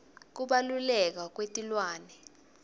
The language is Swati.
kubaluleka kwetilwane